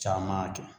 Caman kɛ